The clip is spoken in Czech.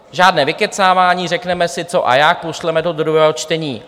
Žádné vykecávání, řekneme si, co a jak, pošleme to do druhého čtení.